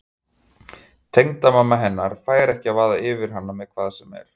Tengdamamma hennar fær ekki að vaða yfir hana með hvað sem er.